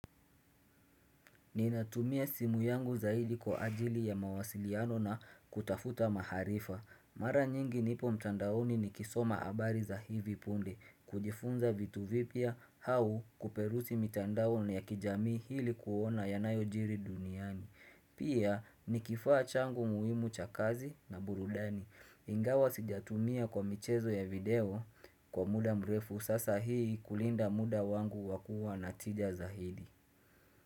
Ninatumia simu yangu zaidi kwa ajili ya mawasiliano na kutafuta maarifa. Mara nyingi nipo mtandaoni nikisoma habari za hivi punde kujifunza vitu vipya au kuperusi mitandaoni ya kijami ili kuona yanayojiri duniani Pia ni kifaa changu muhimu cha kazi na burudani Ingawa sijatumia kwa michezo ya video kwa muda mrefu Sasa hii kulinda muda wangu wa kua na tija zaidi.